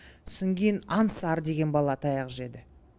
сосын кейін аңсар деген бала таяқ жеді